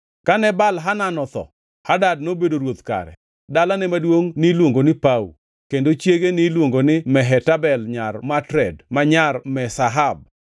Kane Baal-Hanan otho, Hadad nobedo ruoth kare. Dalane maduongʼ niluongo ni Pau, kendo chiege niluongo ni Mehetabel nyar Matred ma nyar Me-Zahab.